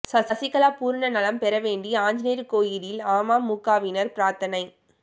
சசிகலா பூரண நலம் பெற வேண்டி ஆஞ்சநேயர் கோயிலில் அமமுகவினர் பிரார்த்தனை